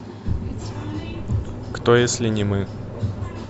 кто если не мы